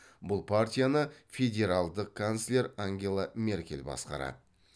бұл партияны федералдық канцлер ангела меркель басқарады